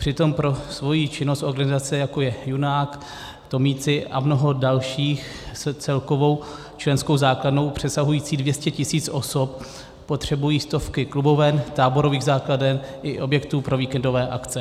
Přitom pro svoji činnost organizace, jako je Junák, Tomíci a mnoho dalších s celkovou členskou základnou přesahující 200 tisíc osob, potřebují stovky kluboven, táborových základen i objektů pro víkendové akce.